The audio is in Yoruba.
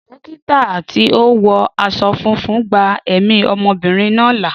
Dókítà tí ó wọ aṣọ funfun gba ẹ̀mí ọmọbìnrin náà là.